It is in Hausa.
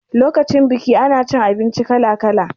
Lokacin biki ana cin abinci kala kala